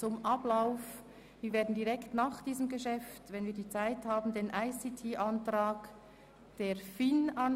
Zum Ablauf: Direkt nach diesem Geschäft werden wir, sofern wir noch Zeit haben, den ICT-Antrag der FIN verabschieden.